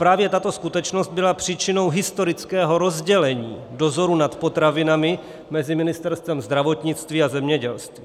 Právě tato skutečnost byla příčinou historického rozdělení dozoru nad potravinami mezi Ministerstvem zdravotnictví a zemědělství.